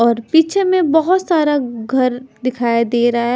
और पीछे में बहोत सारा घर दिखाई देरा है.